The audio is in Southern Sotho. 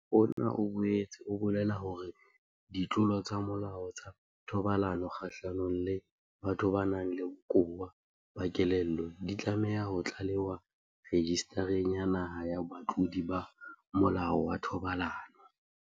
Molao ona o boetse o bolela hore ditlolo tsa molao tsa thobalano kgahlanong le batho ba nang le bokowa ba kelello di tlameha ho tlalewa Rejistareng ya Naha ya Batlodi ba Molao wa Thobalano.